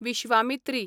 Vishwamitri